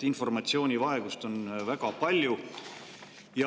Informatsioonivaegust on väga palju.